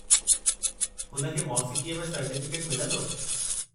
हुन खे मौसीक़ीअ में सर्टीफ़िकेटु मिलंदो।